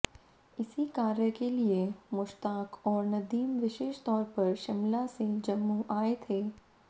इसी कार्य के लिए मुश्ताक और नदीम विशेष तौर पर शिमला से जम्मू आए थे